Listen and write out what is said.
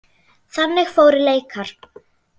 Þannig fóru leikar.